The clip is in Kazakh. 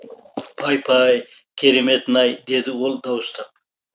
пай пай кереметін ай деді ол дауыстап